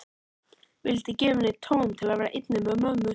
Vildi gefa henni tóm til að vera einni með mömmu.